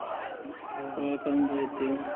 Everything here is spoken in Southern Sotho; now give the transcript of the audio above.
borwa a ka ba teng